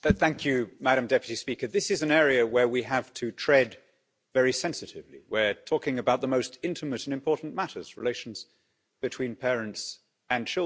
Madam President, this is an area where we have to tread very sensitively. We're talking about the most intimate and important matters relations between parents and children.